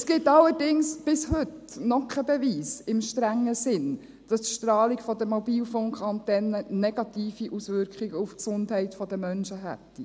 Es gibt allerdings bis heute noch keinen Beweis im strengen Sinn, dass die Strahlung der Mobilfunkantennen negative Auswirkungen auf die Gesundheit der Menschen hätte.